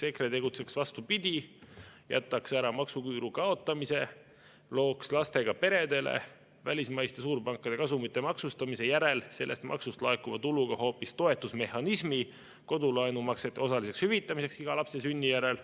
EKRE tegutseks vastupidi, jätaks ära maksuküüru kaotamise, looks lastega peredele välismaiste suurpankade kasumite maksustamise järel sellest maksust laekuva tuluga hoopis toetusmehhanismi kodulaenumaksete osaliseks hüvitamiseks iga lapse sünni järel.